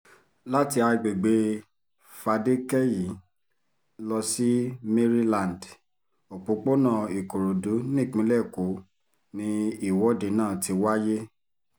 láti àgbègbè fadékẹ́yí lọ sí maryland òpópónà ìkòròdú nípínlẹ̀ èkó ni ìwọ́de náà ti wáyé